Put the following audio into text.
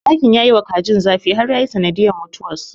Dakin ya yiwa kajin zafi har yayi sanadiyyar mutuwarsu.